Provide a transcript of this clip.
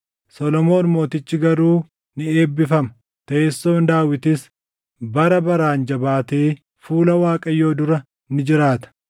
Solomoon mootichi garuu ni eebbifama; teessoon Daawitis bara baraan jabaatee fuula Waaqayyoo dura ni jiraata.”